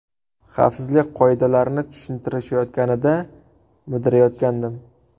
Xavfsizlik qoidalarini tushuntirishayotganida mudrayotgandim.